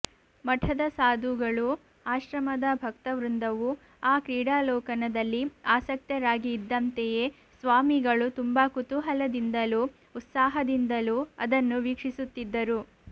ಮಠದ ಸಾಧುಗಳೂ ಆಶ್ರಮದ ಭಕ್ತವೃಂದವೂ ಆ ಕ್ರೀಡಾಲೋಕನದಲ್ಲಿ ಆಸಕ್ತರಾಗಿ ಇದ್ದಂತೆಯೆ ಸ್ವಾಮಿಗಳೂ ತುಂಬಾ ಕುತೂಹಲದಿಂದಲೂ ಉತ್ಸಾಹದಿಂದಲೂ ಅದನ್ನು ವೀಕ್ಷಿಸುತ್ತಿದ್ದರು